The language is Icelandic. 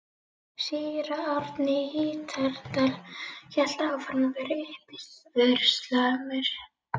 Síra Árni í Hítardal hélt áfram að vera uppivöðslusamur.